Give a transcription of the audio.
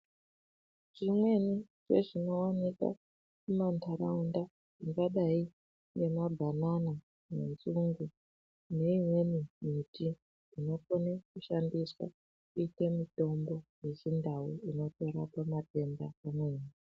Zvimweni zvezvinooneka muma ndaraunda zvakadai ngemabhanana nenzungu neimweni miti inokone kushandiswa kuite mitombo yechindau inotorapa matenda amweni.